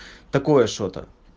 такое что-то